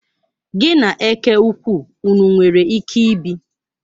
Gi na eke ukwu ụnụ nwere ike ibi?